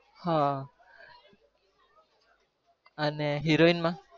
હા અને heroine માં